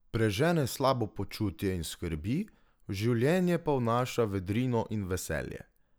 Prežene slabo počutje in skrbi, v življenje pa vnaša vedrino in veselje!